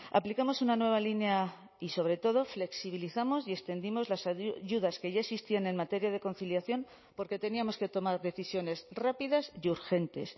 aplicamos una nueva línea y sobre todo flexibilizamos y extendimos las ayudas que ya existían en materia de conciliación porque teníamos que tomar decisiones rápidas y urgentes